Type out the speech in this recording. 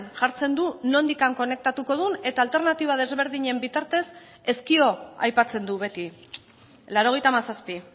jartzen du nondik konektatuko duen eta alternatiba desberdinen bitartez ezkio aipatzen du beti laurogeita hamazazpi